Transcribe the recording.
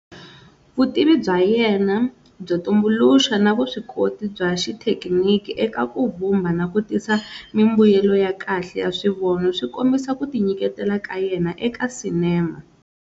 Vutivi bya yena byo tumbuluxa na vuswikoti bya xithekiniki eka ku vumba na ku tisa mimbuyelo ya kahle ya swivono swi kombisa ku tinyiketela ka yena eka cinema.